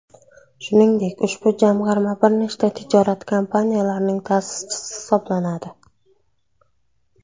Shuningdek, ushbu jamg‘arma bir nechta tijorat kompaniyalarining ta’sischisi hisoblanadi.